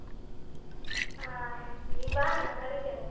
ಅ ನೀನ್ ಬಾ ನಾ ಕರಿತೇನೆ.